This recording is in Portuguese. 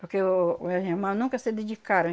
Porque o os meus irmãos nunca se dedicaram.